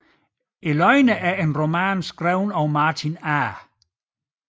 Løgneren er en roman skrevet af Martin A